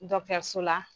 so la